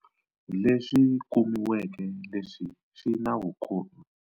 Leswi kumiweke leswi swi na vukhomi.